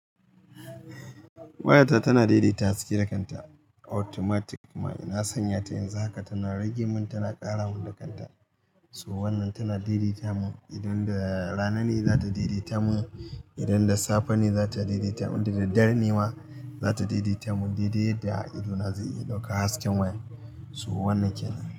Wayata tana daidaita haske da kanta automatic kuma ina san ya ta in za ka tana rage mun tana ƙara mun da kanta. To wannan tana daidaita mun idon da rana ne za ta daidaita mun, idon da safe ne za ta daidaita mun idon da dare ne ma za ta daidaita mun, daidai da idona zai iya ɗaukan hasken waya. So wannan kenan.